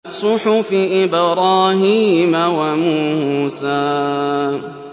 صُحُفِ إِبْرَاهِيمَ وَمُوسَىٰ